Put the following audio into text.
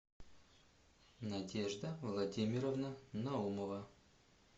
надежда владимировна наумова